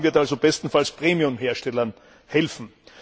Dieses Vorhaben wird also bestenfalls Premiumherstellern helfen.